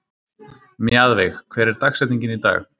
Mjaðveig, hver er dagsetningin í dag?